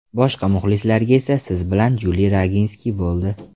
Boshqa muxlislarga esa – siz bilan Juli Roginski bo‘ldi.